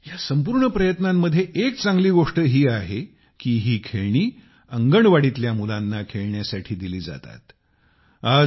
आणि या संपूर्ण प्रयत्नांची एक चांगली गोष्ट ही देखील आहे की ही खेळणी अंगणवाडीतल्या मुलांना खेळण्यासाठी दिली जातात